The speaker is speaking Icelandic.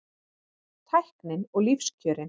Tæknin og lífskjörin